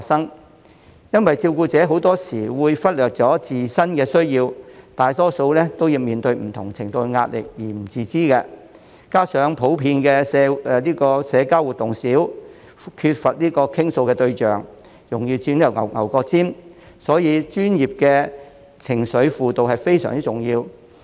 這是因為照顧者很多時會忽略了自身的需要，大多數都面對不同程度的壓力而不自知，加上普遍社交活動少，缺乏傾訴對象，容易鑽"牛角尖"，所以專業的情緒輔導非常重要。